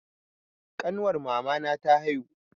Ƙanwar mamana ta haihu.